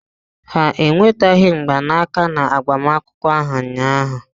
Ha eweteghị mgbanaka na agbamakwụkwọ ahụ ụnyaahụ.